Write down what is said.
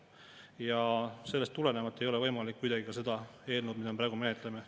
Ja sellest tulenevalt ei ole võimalik toetada kuidagi ka seda eelnõu, mida me praegu menetleme.